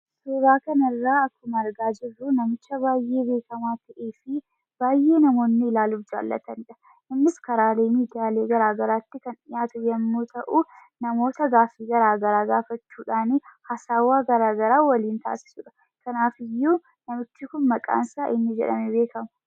Suuraa kanarraa akkuma argaa jirru namicha baayyee beekamaa ta'eefi baayyee namoonni ilaaluuf jaalatanidha. Innis karaalee miidiyaalee garagaraatti kan dhiyaatu yommuu ta'uu namooota gaaffii garagaraa gaafachuuni haasawwaa garagaraa waliin taasisu. Kanaafiyyuu namichi kun maqaansaa eenyu jedhamuudhaan beekama?